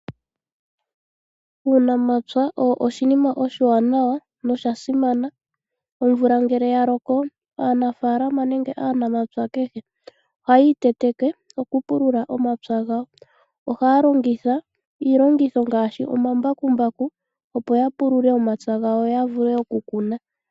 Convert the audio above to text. Uunamapya owo oshinima oshiwanawa noshasimana. Omvula ngele yaloko aanafaalama nenge aanamapya kehe ohaya iteteke komapya gawo okupulula omapya gawo. Ohaya longitha iilongithomwa ngaashi omambakumbaku opo yapulule omapya gawo , yo yavule okukuna.